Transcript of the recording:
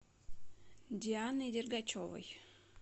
дианой дергачевой